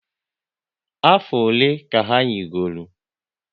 Afọ ole ka ha yigoro?